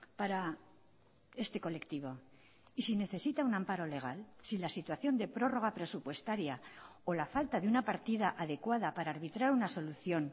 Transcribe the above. para este colectivo y si necesita un amparo legal si la situación de prórroga presupuestaria o la falta de una partida adecuada para arbitrar una solución